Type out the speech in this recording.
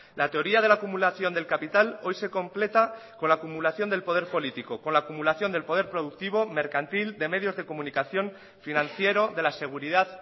la teoría de la acumulación del capital hoy se completa con la acumulación del poder político con la acumulación del poder productivo mercantil de medios de comunicación financiero de la seguridad